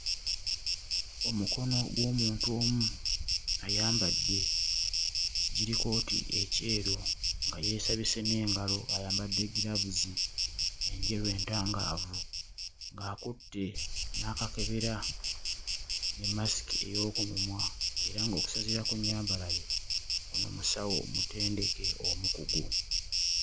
Omukono gw'omuntu omu ayambadde kijirikooti ekyeru nga yeesabise n'engalo ayambadde ggiraavuzi enjeru entangaavu ng'akutte n'akakebera ne mmasiki ey'oku mumwa era ng'okusinziira ku nnyambala ye ono musawo mutendeke omukugu.